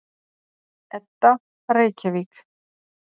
Edda: Reykjavík.